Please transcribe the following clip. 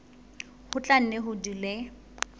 ho tla nne ho dule